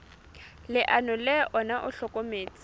leano le ona o hlokometse